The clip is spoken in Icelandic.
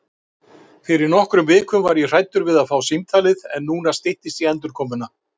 Fyrir nokkrum vikum var ég hræddur við að fá símtalið en núna styttist í endurkomuna.